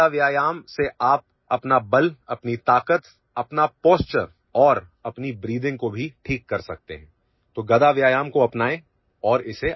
गदा व्यायाम से आप अपना बल अपनी ताकत अपना ପୋଷ୍ଟୁରେ और अपनी ବ୍ରେଥିଂ को भीठीक कर सकते हैं तो गदा व्यायाम को अपनाए और इसे आगेबढ़ाएं